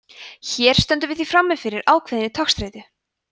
hér stöndum við því frammi fyrir ákveðinni togstreitu